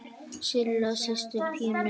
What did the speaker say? Silla systir Pínu.